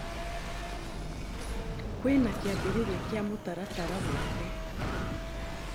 Kwĩna kĩambĩrĩria kĩa mũtaratara wothe